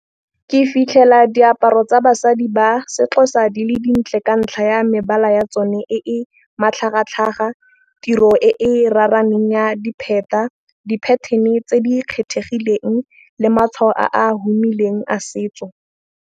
Ke fitlhela diaparo tsa basadi ba si-Xhosa di le dintle ka ntlha ya mebala ya tsone. E matlhagatlhaga tiro e raraneng ya dipheta di-pattern-e tse di kgethegileng le matšhwao a humileng a setso.